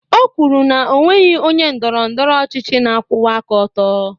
O kwuru na o nweghị onye ndọrọ ndọrọ ọchịchị na-akwụwa aka ọtọ